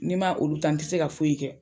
Ni n ma o ta, n te se ka foyi kɛ.